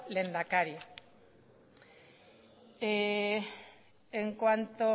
lehendakari en cuanto